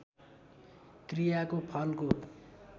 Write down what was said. क्रियाको फलको